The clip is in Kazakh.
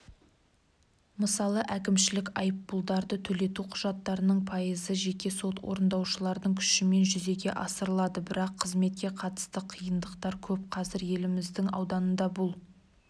мысалы әкімшілік айыппұлдарды төлету құжаттарының пайызы жеке сот орындаушылардың күшімен жүзеге асырылады бірақ қызметке қатысты қиындықтар көп қазір еліміздің ауданында бұл